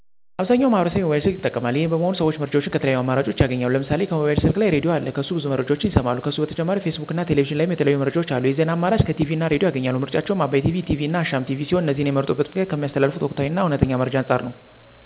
አብዛኛው ማህበረሰብ የሞባይል ስልክ ይጠቀማል። ይሄም በመሆኑ ሰዎች መረጃዎችን ከተለያዩ አማራጭኦች ያገኛሉ። ለምሳሌ ከሞባይል ስልክ ላይ ራድዬ አለ ከሱ ብዙ መረጃዎችን ይሰማሉ። ከሱ በተጨማሪ ፌስቡክ እና ቴሌቪዥን ላይም የተለያዩ መረጃዎች አሉ። የዜና አማራጭ ከቲቪ እና ራድዬ ያገኛሉ። ምርጫቸውም አባይ ቲቪ፣ ኢቲቪ እና አሻም ቲቪ ሲሆን እነዚህንም የመረጡበት ምክንያት ከሚያስተላልፉት ወቅታዊ እና እውነተኛ መረጃ አንፃር ነው።